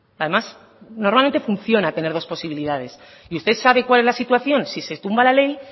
además normalmente funciona tener dos posibilidades y usted sabe cuál es la situación si se tumba la ley